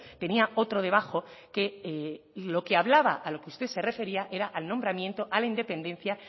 tenía otro debajo que lo que hablaba a lo que usted se refería era al nombramiento a la independencia